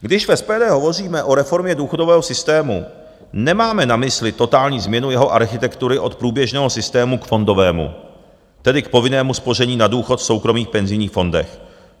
Když v SPD hovoříme o reformě důchodového systému, nemáme na mysli totální změnu jeho architektury od průběžného systému k fondovému, tedy k povinnému spoření na důchod v soukromých penzijních fondech.